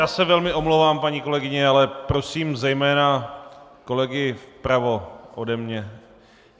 Já se velmi omlouvám, paní kolegyně, ale prosím zejména kolegy vpravo ode mě.